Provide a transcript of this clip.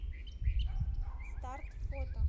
старт фото